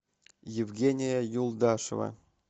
евгения юлдашева